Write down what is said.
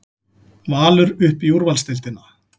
Valur upp í úrvalsdeildina